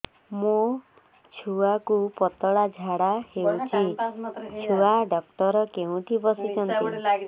ମୋ ଛୁଆକୁ ପତଳା ଝାଡ଼ା ହେଉଛି ଛୁଆ ଡକ୍ଟର କେଉଁଠି ବସୁଛନ୍ତି